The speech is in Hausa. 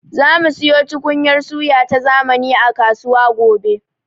Zamu siyo tukunyar suya ta zamani a kasuwa gobe.